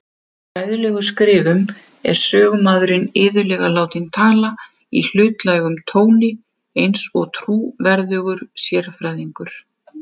Í fræðilegum skrifum er sögumaðurinn iðulega látinn tala í hlutlægum tóni, eins og trúverðugur sérfræðingur.